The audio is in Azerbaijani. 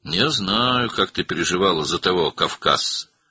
Mən bilirəm, sən o qafqazlıya görə necə narahat olurdun.